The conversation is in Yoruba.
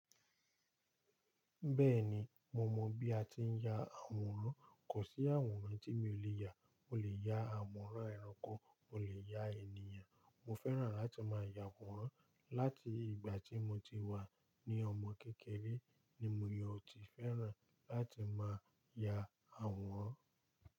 Bẹ́ẹ̀ni, mo mọ bí a ti ń ya àwòrán. Kò sí àwòrán tí mi ò lè ya. O lè ya àwòrán ẹranko, o lè ya ènìyàn. Mo fẹ́ràn láti máa ya àwòrán láti ìgbà tí mo ti wà ní ọmọ kékeré ni mo ò tíì fẹ́ràn láti máa ya àwòrán.